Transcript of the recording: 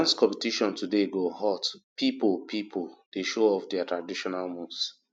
di dance competition today go hot pipo pipo dey show off their traditional moves